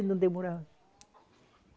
E não demorava.